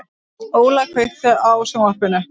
Óla, kveiktu á sjónvarpinu.